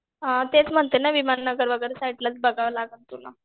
हां तेच म्हणते ना विमान नगर वगैरे साईडलाच बघावं लागेल तुला